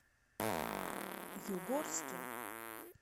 югорске